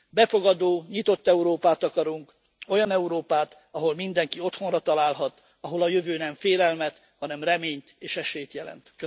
Befogadó, nyitott Európát akarunk, olyan Európát, ahol mindenki otthonra találhat, ahol a jövő nem félelmet, hanem reményt és esélyt jelent.